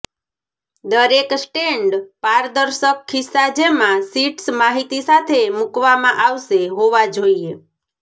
દરેક સ્ટેન્ડ પારદર્શક ખિસ્સા જેમાં શીટ્સ માહિતી સાથે મૂકવામાં આવશે હોવા જોઈએ